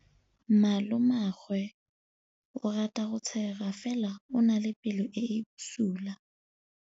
Malomagwe o rata go tshega fela o na le pelo e e bosula.